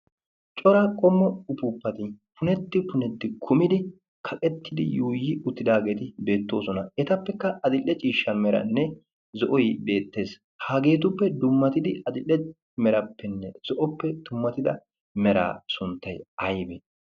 cora qommo ufuuppati punetti punetti kumidi kaqettidi yuuyi uttidaageeti beettoosona. etappekka adilde ciishsha meranne zo7oi beettees. hageetuppe dummatidi axilde merappenne zo7oppe dummatida mera sunttai aibe?